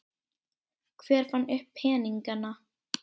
Hver fann upp peningana?